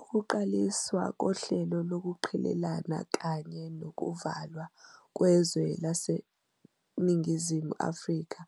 Ukuqaliswa kohlelo lokuqhelelana kanye nokuvalwa kwezwe laseNingizimu Afrika